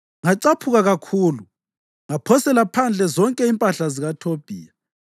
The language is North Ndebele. Ngacaphuka kakhulu ngaphosela phandle zonke impahla zikaThobhiya.